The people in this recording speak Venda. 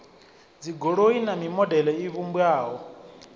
dzigoloi na mimodele i vhumbwaho